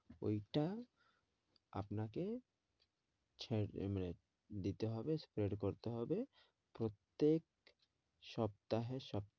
ওইটা আপনাকে ছেঁড় মানে দিতে হবে spread করতে হবে প্রত্যেক সপ্তাহে সপ্তাহে